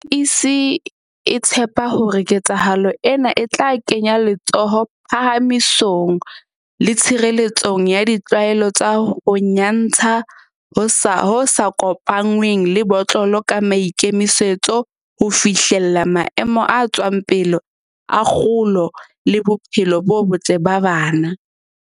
MEC o tshepa hore ketsahalo ena e tla kenya letsoho phahamisong le tshirele tsong ya ditlwaelo tsa ho nya ntsha ho sa kopanngweng le botlolo ka maikemisetso a ho fihlella maemo a tswang pele a kgolo le bophelo bo botle ba bana.